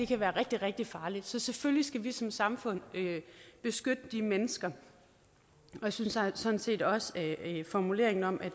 kan være rigtig rigtig farligt så selvfølgelig skal vi som samfund beskytte de mennesker jeg synes sådan set også at formuleringen om at